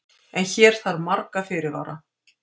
En hér þarf marga fyrirvara.